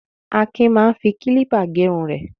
Akin máa ń fi kílípà gẹrun rẹ̀.